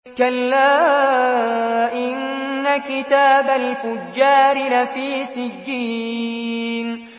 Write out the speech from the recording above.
كَلَّا إِنَّ كِتَابَ الْفُجَّارِ لَفِي سِجِّينٍ